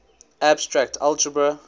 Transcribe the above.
abstract algebra